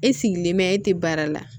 E sigilen bɛ e tɛ baara la